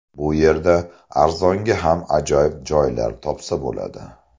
Bu yerda arzonga ham ajoyib joylar topsa bo‘ladi.